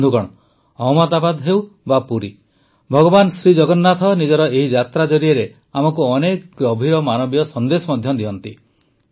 ବନ୍ଧୁଗଣ ଅହମଦାବାଦ ହେଉ ବା ପୁରୀ ଭଗବାନ ଜଗନ୍ନାଥ ନିଜର ଏହି ଯାତ୍ରା ଜରିଆରେ ଆମକୁ ଅନେକ ଗଭୀର ମାନବୀୟ ସନ୍ଦେଶ ମଧ୍ୟ ଦିଅନ୍ତି